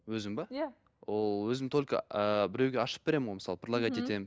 өзім бе иә ол өзім только ыыы біреуге ашып беремін ғой мысалы предлогать етемін